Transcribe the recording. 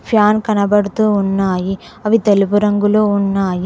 Fan కనబడుతూ ఉన్నాయి అవి తెలుగు రంగులో ఉన్నాయి.